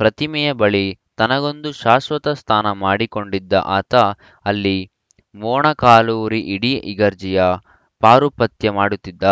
ಪ್ರತಿಮೆಯ ಬಳಿ ತನಗೊಂದು ಶಾಶ್ವತ ಸ್ಥಾನ ಮಾಡಿ ಕೊಂಡಿದ್ದ ಆತ ಅಲ್ಲಿ ಮೋ ಣಕಾಲೂರಿ ಇಡೀ ಇಗರ್ಜಿಯ ಪಾರುಪತ್ಯ ಮಾಡುತ್ತಿದ್ದ